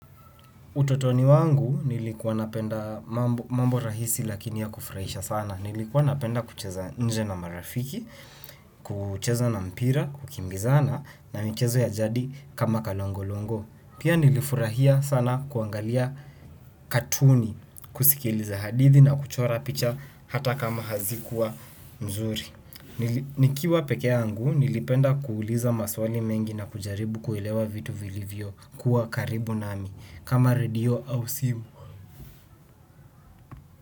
Utotoni wangu nilikuwa napenda mambo rahisi lakini ya kufurahisha sana. Nilikuwa napenda kucheza nje na marafiki, kucheza na mpira, kukimbizana na michezo ya jadi kama kalongo-longo. Pia nilifurahia sana kuangalia katuni, kusikiliza hadithi na kuchora picha hata kama hazikuwa nzuri. Nikiwa peke yangu, nilipenda kuuliza maswali mengi na kujaribu kuilewa vitu vilivyo kuwa karibu nami. Kama redio au simu.